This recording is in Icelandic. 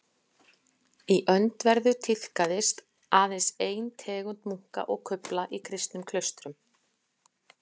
Í öndverðu tíðkaðist aðeins ein tegund munka og kufla í kristnum klaustrum.